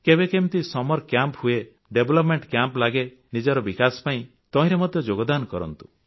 କେବେ କେମିତି summer camp ହୁଏ ଡେଭଲପମେଣ୍ଟ କ୍ୟାମ୍ପ ଲାଗେ ନିଜର ବିକାଶ ପାଇଁ ତହିଁରେ ମଧ୍ୟ ଯୋଗଦାନ କରନ୍ତୁ